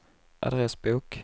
adressbok